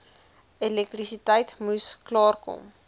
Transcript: elektrisiteit moes klaarkom